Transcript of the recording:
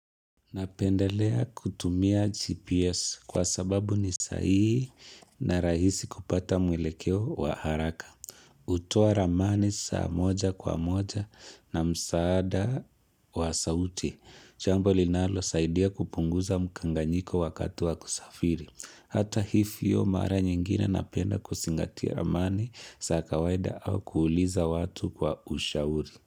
Napendelea kutumia GPS kwa sababu ni sahihi na rahisi kupata mwelekeo wa haraka. Hutoa ramani saa moja kwa moja na msaada wa sauti. Jambo linalo saidia kupunguza mkanganyiko wakati wa kusafiri. Hata hivyo mara nyingine napenda kuzingatia ramani za kawaida au kuuliza watu kwa ushauri.